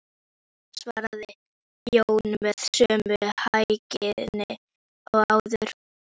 Nei, svaraði Jón með sömu hægðinni og áður.